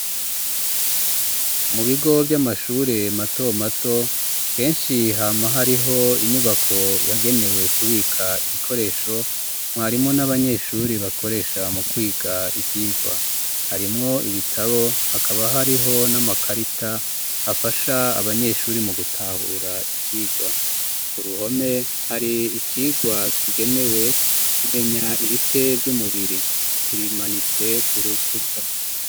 Mu bigo vy'amashure mato mato keshi hama hariho inyubako yagenewe kubika ibikoresho mwarimu n'abanyeshuri bakoresha mu kwiga ivyirwa harimwo ibitabo hakaba hariho n'amakarita afasha abanyeshuri mu gutahura icirwa kuruhome hari icirwa kigenewe kumenya ibice vy'umubiri kimanitse ku rukuta